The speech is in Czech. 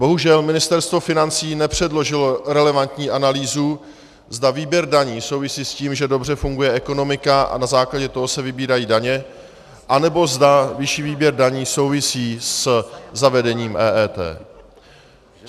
Bohužel Ministerstvo financí nepředložilo relevantní analýzu, zda výběr daní souvisí s tím, že dobře funguje ekonomika a na základě toho se vybírají daně, anebo zda vyšší výběr daní souvisí se zavedením EET.